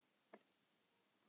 Af hverju ertu vongóð?